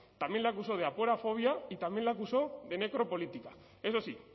también le acusó de aporofobia y también le acusó de necropolítica eso sí